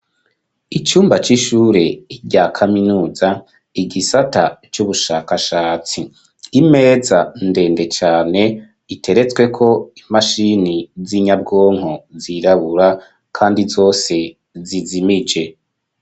Icumba c'ishure rya kaminuza igisata c'ubushakashatsi imeza ndende cane iteretsweko imashini za nyabwonko zirabura kandi zose zizimije.